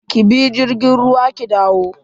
Ki bi jirgin ruwa ki dawo.